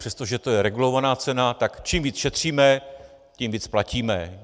Přestože to je regulovaná cena, tak čím víc šetříme, tím víc platíme.